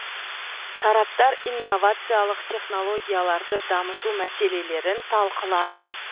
тараптар инновациялық технологияларды дамыту мәселелерін талқылады